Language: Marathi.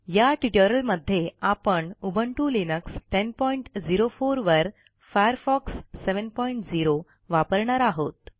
या ट्युटोरियलमध्ये आपण उबुंटू लिनक्स 1004 वरFirefox 70 वापरणार आहोत